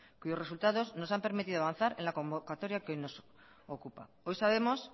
cuyos resultados nos han permitido avanzar en la convocatoria que hoy nos ocupa hoy sabemos